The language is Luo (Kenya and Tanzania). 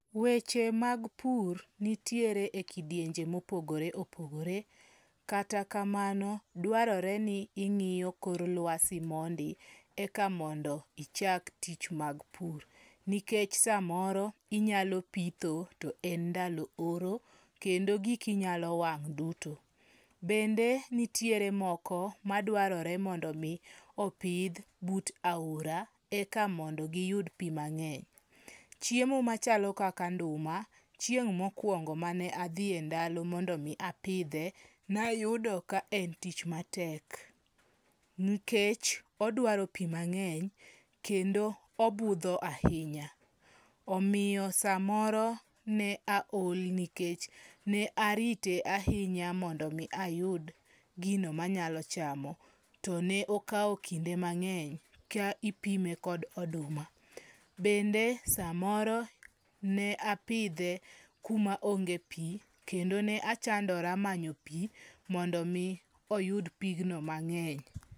Weche mag pur nitiere e kidienje mopogore opogore. Kata kamano, dwarore ni ing'iyo kor lwasi mondi eka mondo ichak tich mag pur. Nikech samoro inyalo pitho to en ndalo oro kendo giki nyalo wang' duto. Bende nitiere moko madwarore mondo mi opidh but aora eka mondo giyud pi mang'eny. Chiemo machalo kaka nduma, chieng' mokwongo mane adhi e ndalo mondo mi apidhe, nayudo ka en tich matek. Nkech odwaro pi mang'eny kendo obudho ahinya. Omiyo sa moro ne aol nikech ne arite ahinya mondo mi ayud gino manyalo chamo. To ne okao kinde mang'eny ka ipime kod oduma. Bende samoro ne apidhe kuma onge pi kendo ne achondora manyo pi mondo mi oyud pigno mang'eny.